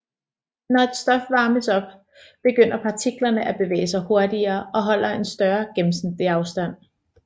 Når et stof varmes op begynder partiklerne at bevæge sig hurtigere og holde en større gennemsnitlig afstand